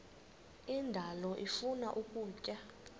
indalo ifuna ukutya